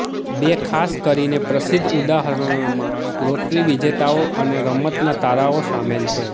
બે ખાસ કરીને પ્રસિદ્ધ ઉદાહરણોમાં લોટરી વિજેતાઓ અને રમતના તારાઓ શામેલ છે